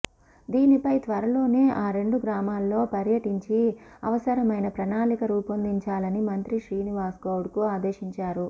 దీనిపై త్వరలోనే ఆ రెండు గ్రామాల్లో పర్యటించి అవసరమైన ప్రణాళిక రూపొందించాలని మంత్రి శ్రీనివాస్గౌడ్ను ఆదేశించారు